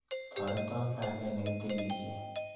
Toreto panget ne kitilishe.